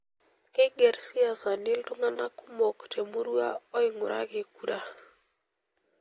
Keigerr siasani iltungana kumok temurua oing'uraki kura.